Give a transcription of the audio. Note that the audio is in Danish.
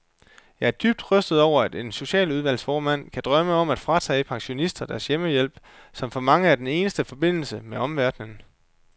Jeg er dybt rystet over, at en socialudvalgsformand kan drømme om at fratage pensionister deres hjemmehjælp, som for mange er den eneste forbindelse med omverdenen.